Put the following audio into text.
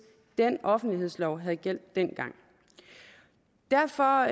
den offentlighedslov havde gjaldt dengang derfor